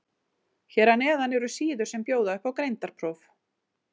Hér að neðan eru síður sem bjóða upp á greindarpróf.